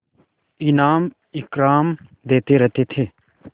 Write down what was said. इनाम इकराम देते रहते थे